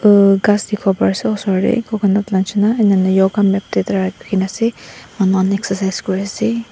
aru ghas dikhiwo parease osor tae coconut la nishina enana yoga mat tuita rakhina ase manu khan excercise kuriase.